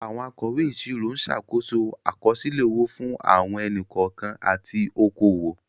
Àwọn akọ̀wé ìṣirò ń ṣàkóso àkọsílẹ̀ owó fún àwọn ẹni-kọ̀ọ̀kan àti okòwò.